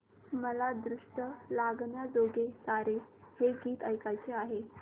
मला दृष्ट लागण्याजोगे सारे हे गीत ऐकायचे आहे